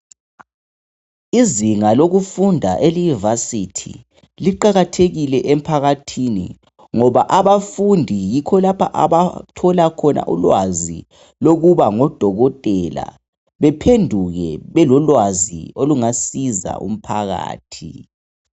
Izinga lokufunda eliyivasithi liqakathekile emphakathini ngoba abafundi yikho lapho abathola khona ulwazi lokuba ngodokotela bephenduke belolwazi olungasiza umphakathi.